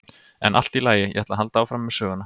En allt í lagi, ég ætla að halda áfram með söguna.